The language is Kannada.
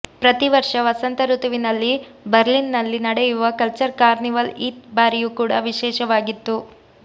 ಪ್ರತಿ ವರ್ಷ ವಸಂತ ಋತುವಿನಲ್ಲಿ ಬರ್ಲಿನ್ನಲ್ಲಿ ನಡೆಯುವ ಕಲ್ಚರ್ ಕಾರ್ನಿವಲ್ ಈ ಬಾರಿಯೂ ಕೂಡ ವಿಶೇಷವಾಗಿತ್ತು